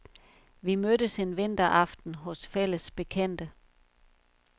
Vi mødtes en vinteraften hos fælles bekendte.